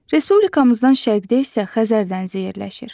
Respublikamızdan şərqdə isə Xəzər dənizi yerləşir.